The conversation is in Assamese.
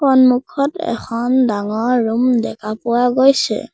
সন্মুখত এখন ডাঙৰ ৰুম দেখা পোৱা গৈছে।